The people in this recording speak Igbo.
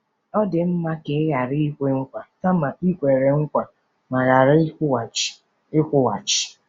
Ọ dị mma ka i ghara ikwe nkwa kama i kwere nkwa ma ghara ịkwụghachi. ” ịkwụghachi. ”